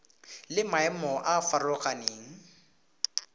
le maemo a a farologaneng